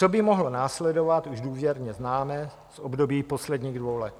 Co by mohlo následovat, už důvěrně známe z období posledních dvou let.